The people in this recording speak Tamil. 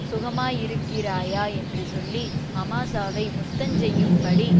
சுகமாயிருக்கிறாயா என்று சொல்லி அமாசாவை முத்தஞ்செய்யும்படி